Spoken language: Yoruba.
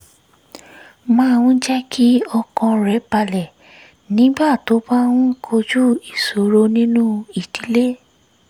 máa ń jẹ́ kí ọkàn rẹ̀ balẹ̀ nígbà tó bá ń kojú ìṣòro nínú ìdílé